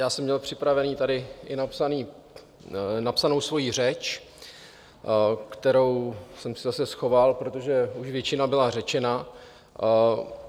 Já jsem měl připravenou tady i napsanou svoji řeč, kterou jsem si zase schoval, protože už většina byla řečena.